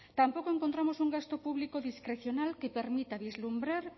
tampoco encontramos un gasto público discrecional que permita vislumbrar